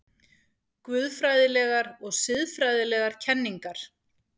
GUÐFRÆÐILEGAR OG SIÐFRÆÐILEGAR KENNINGAR